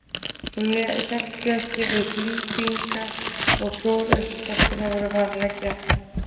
Hún hélt sig ekki við klípingar og klór eins og stelpurnar voru vanar að gera.